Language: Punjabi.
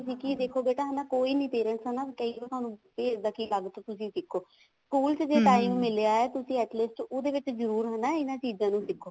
ਵੀ ਦੇਖੋ ਬੇਟਾ ਹਨਾ ਕੋਈ ਵੀ parents ਤੁਹਾਨੂੰ ਨਹੀਂ ਕਹੇਗਾ ਵੀ ਇੱਦਾਂ ਲਾ ਕੇ ਤੁਸੀਂ ਸਿੱਖੋ ਸਕੂਲ ਮਿਲਿਆ ਤੁਸੀਂ at least ਉਹਦੇ ਵਿੱਚ ਜਰੁਰ ਹਨਾ ਇਹਨਾ ਚੀਜ਼ਾਂ ਨੂੰ ਸਿੱਖੋ